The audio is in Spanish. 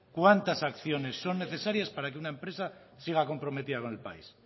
cuántas acciones son necesarias para que una empresa siga comprometida con el país